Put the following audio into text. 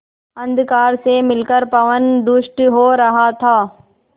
अंधकार से मिलकर पवन दुष्ट हो रहा था